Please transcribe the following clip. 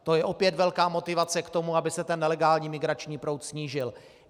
To je opět velká motivace k tomu, aby se ten nelegální migrační proud snížil.